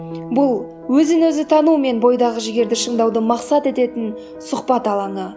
бұл өзін өзі тану мен бойдағы жігерді шыңдауды мақсат ететін сұхбат алаңы